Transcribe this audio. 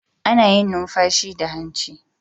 Ana yin numfashi da hanci.